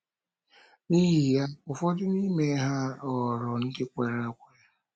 N’ihi ya, ụfọdụ n’ime ha ghọrọ ndị kwere ekwe. ”